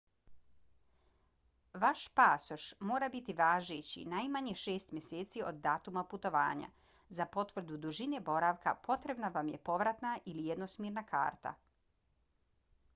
vaš pasoš mora biti važeći najmanje šest mjeseci od datuma putovanja. za potvrdu dužine boravka potrebna vam je povratna ili jednosmjerna karta